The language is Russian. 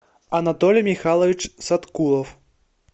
анатолий михайлович саткулов